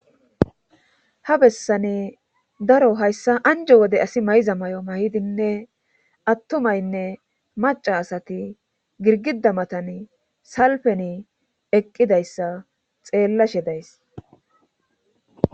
Ha bessane daro hayssa anjo wode asi mayza may'o mayidinne attumaynne maca asati girgida matan salpeni eqqidayssa xeellashe days.